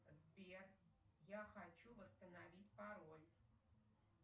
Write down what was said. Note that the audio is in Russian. сбер я хочу восстановить пароль